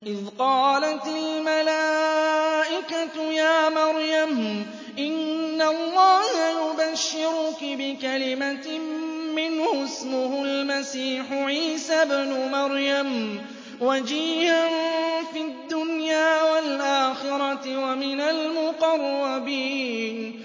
إِذْ قَالَتِ الْمَلَائِكَةُ يَا مَرْيَمُ إِنَّ اللَّهَ يُبَشِّرُكِ بِكَلِمَةٍ مِّنْهُ اسْمُهُ الْمَسِيحُ عِيسَى ابْنُ مَرْيَمَ وَجِيهًا فِي الدُّنْيَا وَالْآخِرَةِ وَمِنَ الْمُقَرَّبِينَ